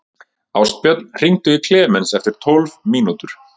Ástbjörn, hringdu í Klemens eftir tólf mínútur.